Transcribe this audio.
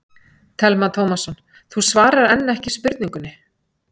Telma Tómasson: Þú svarar enn ekki spurningunni?